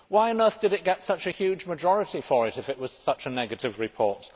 Why on earth did it get such a huge majority if it was such a negative report?